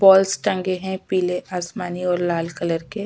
balls टंगे है पीले आसमानी और लाल कलर के--